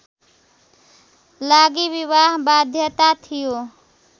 लागि विवाह बाध्यता थियो